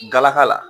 Galaka la